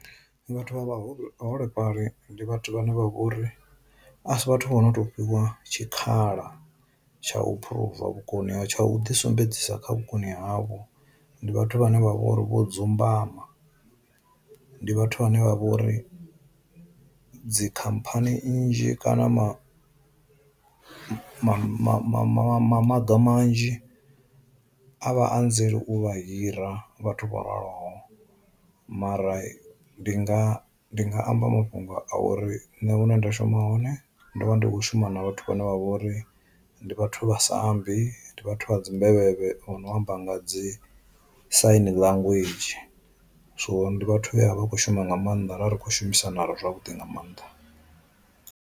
Ndi vhathu vha vhaholefhali ndi vhathu vhane vha vhori a si vhathu vho no to fhiwa tshikhala tsha u phuruva vhukoni ha tsha u ḓi sumbedzisa kha vhukoni havho ndi vhathu vhane vha vhori vho dzumbama, ndi vhathu vhane vha vha uri dzi khamphani nnzhi kana ma ma ma ma maga manzhi a vha anzeli u vha hira vhathu vho raloho mara ndi nga ndi nga amba mafhungo a uri nṋe hune nda shuma hone ndo vha ndi kho shuma na vhathu vhane vha vha uri ndi vhathu vha sambi, ndi vhathu dzi mbevhevhe vho no amba nga dzi sain language, so ndi vhathu vhe vha kho shuma nga maanḓa ra ri khou shumisana zwavhuḓi nga maanḓa.